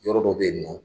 Yɔrɔ dɔ bɛ yen nɔ